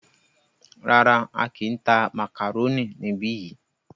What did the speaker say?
Rárá,á kìí tá màkàrónì níbi yìí.